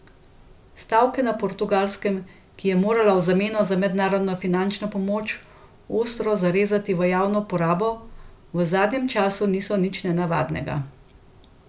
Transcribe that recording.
Stavke na Portugalskem, ki je morala v zameno za mednarodno finančno pomoč ostro zarezati v javno porabo, v zadnjem času niso nič nenavadnega.